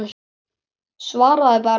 Svaraðu bara.